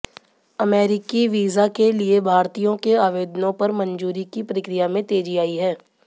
अमेरिकी वीजा के लिए भारतीयों के आवेदनों पर मंजूरी की प्रक्रिया में तेजी आई है